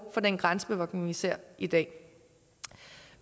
for den grænsebevogtning vi ser i dag